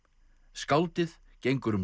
skáldið gengur um